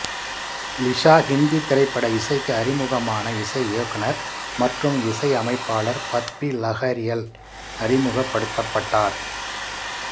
லிஷா ஹிந்தி திரைப்பட இசைக்கு அறிமுகமான இசை இயக்குனர் மற்றும் இசையமைப்பாளர் பப்பி லஹரியால் அறிமுகப்படுத்தப்பட்டார்